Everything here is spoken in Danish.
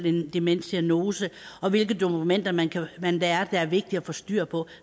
en demensdiagnose og hvilke dokumenter man man lærer der er vigtige at få styr på